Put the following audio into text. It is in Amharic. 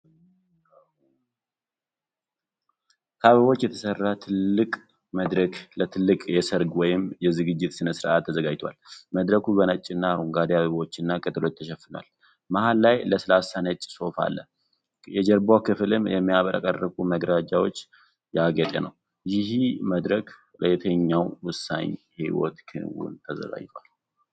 ከአበቦች የተሠራ ትልቅ መድረክ ለትልቅ የሠርግ ወይም የዝግጅት ሥነ-ሥርዓት ተዘጋጅቷል። መድረኩ በነጭና አረንጓዴ አበቦችና ቅጠሎች ተሸፍኗል፤ መሃል ላይ ለስላሳ ነጭ ሶፋ አለ። የጀርባው ክፍልም በሚያብረቀርቁ መጋረጃዎች ያጌጠ ነው። ይህ መድረክ ለየትኛው ወሳኝ የሕይወት ክንውን ተዘጋጅቷል?